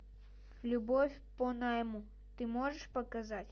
любовь по найму ты можешь показать